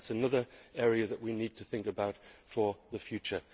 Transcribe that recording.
That is another area that we need to think about for the future.